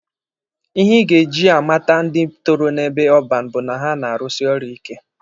Ihe ị ga-eji amata ndị toro n'ebe ọban bụ na ha na-arụsi ọrụ ike.